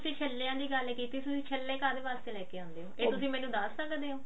ਤੁਸੀਂ ਛੱਲੀਆਂ ਦੀ ਗੱਲ ਕੀਤੀ ਕੀ ਤੁਸੀਂ ਚੱਲੇ ਕਾਹਦੇ ਵਾਸਤੇ ਲੈ ਕੇ ਆਉਂਦੇ ਹੋ ਤੁਸੀਂ ਮੈਨੂੰ ਦੱਸ ਸਕਦੇ ਹੋ